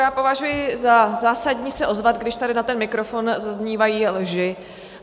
Já považuji za zásadní se ozvat, když tady na ten mikrofon zaznívají lži.